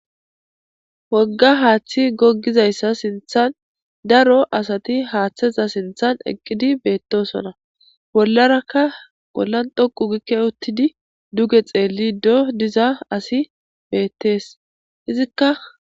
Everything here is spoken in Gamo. Wogga haaththi goggizayssa sinthan daro asati haaththeza sinthan eqqidi beettosona bollarakka bollan dhoqu gikke uttidi duge xeelli do diza asi beettees izikka.